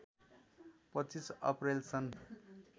२५ अप्रैल सन्